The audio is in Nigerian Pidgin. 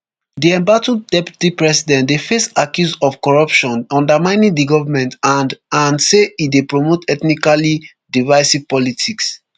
di embattled deputy president dey face accuse of corruption undermining di goment and and say e dey promote ethnically divisive politics